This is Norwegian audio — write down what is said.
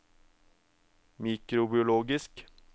mikrobiologisk